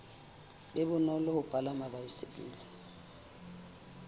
be bonolo ho palama baesekele